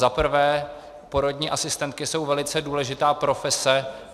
Za prvé, porodní asistentky jsou velice důležitá profese.